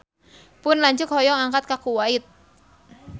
Pun lanceuk hoyong angkat ka Kuwait